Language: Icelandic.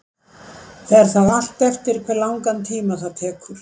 Fer það allt eftir hve langan tíma það tekur.